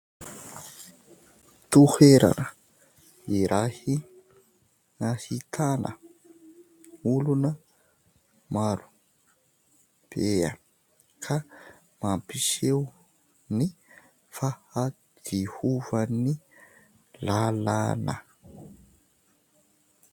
Toherana irahy ahitana olona maro bea ka mampiseo ny fahadiovan'ny lalana.